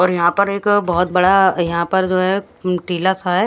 और यहां पर एक बहोत बड़ा यहां पर जो है टीला सा है।